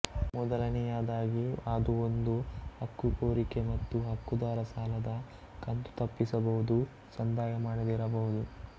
ಮೊದಲನೆಯದಾಗಿ ಅದು ಒಂದು ಹಕ್ಕುಕೋರಿಕೆ ಮತ್ತು ಹಕ್ಕುದಾರ ಸಾಲದ ಕಂತು ತಪ್ಪಿಸಬಹುದು ಸಂದಾಯಮಾಡದಿರಬಹುದು